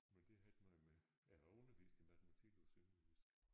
Men det har ikke noget med jeg har undervist i matematik på sønderjysk